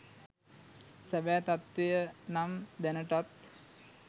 සැබෑ තත්වය නම් දැනටත්